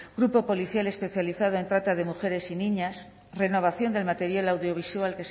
grupo policial especializado en trata de mujeres y niñas renovación del material audiovisual